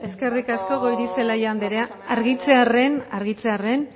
eskerrik asko goirizelaia anderea argitzearren argitzearren